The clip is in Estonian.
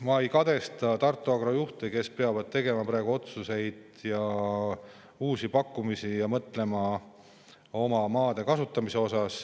Ma ei kadesta Tartu Agro juhte, kes peavad tegema praegu otsuseid ja uusi pakkumisi ning mõtlema oma maade kasutamisele.